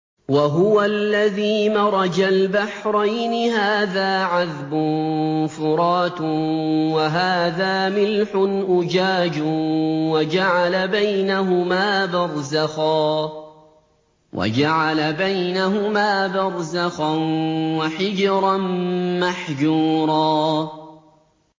۞ وَهُوَ الَّذِي مَرَجَ الْبَحْرَيْنِ هَٰذَا عَذْبٌ فُرَاتٌ وَهَٰذَا مِلْحٌ أُجَاجٌ وَجَعَلَ بَيْنَهُمَا بَرْزَخًا وَحِجْرًا مَّحْجُورًا